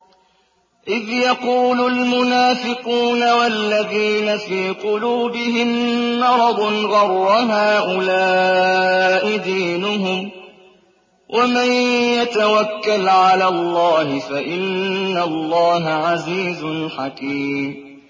إِذْ يَقُولُ الْمُنَافِقُونَ وَالَّذِينَ فِي قُلُوبِهِم مَّرَضٌ غَرَّ هَٰؤُلَاءِ دِينُهُمْ ۗ وَمَن يَتَوَكَّلْ عَلَى اللَّهِ فَإِنَّ اللَّهَ عَزِيزٌ حَكِيمٌ